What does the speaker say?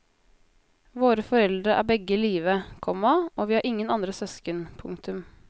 Våre foreldre er begge i live, komma og vi har ingen andre søsken. punktum